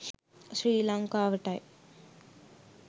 ශ්‍රී ලංකාවටයි.